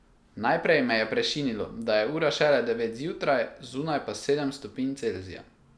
Najprej me je prešinilo, da je ura šele devet zjutraj, zunaj pa sedem stopinj Celzija.